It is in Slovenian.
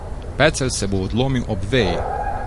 Pecelj se bo odlomil ob veji.